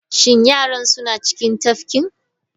Shin yaran suna cikin tafkin?